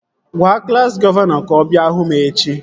Gwaa klassi gọvanọ ka ọ bịa hụ m echi!